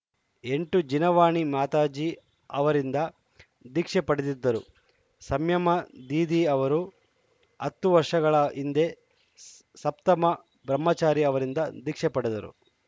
ಎಂಟು ಜಿನವಾಣಿ ಮಾತಾಜಿ ಅವರಿಂದ ದೀಕ್ಷೆ ಪಡೆದಿದ್ದರು ಸಂಯಮ ದೀದಿ ಅವರು ಹತ್ತು ವರ್ಷಗಳ ಹಿಂದೆ ಸ್ ಸಪ್ತಮ ಬ್ರಹ್ಮಚಾರಿ ಅವರಿಂದ ದೀಕ್ಷೆ ಪಡೆದರು